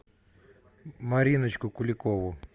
мариночку куликову